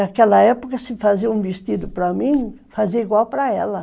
Naquela época, se fazia um vestido para mim, fazia igual para ela.